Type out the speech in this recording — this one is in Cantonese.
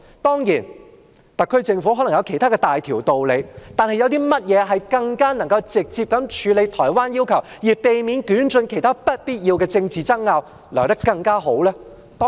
當然，特區政府可能有其他大道理，但有甚麼方式比透過這個平台更能直接處理台灣的要求，而避免捲進其他不必要的政治爭拗呢？